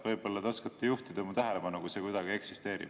Võib-olla te oskate juhtida mu tähelepanu, kui see kuidagi eksisteerib.